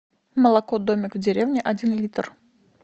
молоко домик в деревне один литр